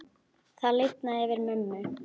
Það lifnaði yfir mömmu.